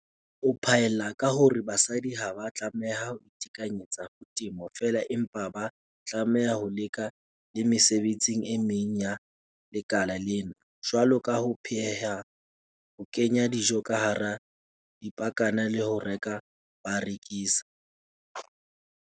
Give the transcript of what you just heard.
O phaella ka hore basadi ha ba a tlameha ho itekanyetsa ho temo fela empa ba tlameha ho leka le mesebetsi e meng ya lekala lena, jwalo ka ho pheha, ho kenya dijo ka hara dipakana le ho reka ba rekisa."